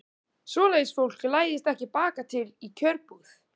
Svoleiðis fólk læðist ekki bakatil í kjörbúð.